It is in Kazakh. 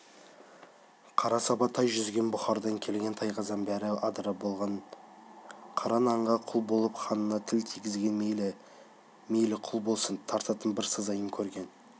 қара саба тай жүзген бұхардан келген тайқазан бәрі адыра болғаны қара нанға құл болып ханына тіл тигізген мейлі би мейлі құл болсын тартатын бір сазайын көрген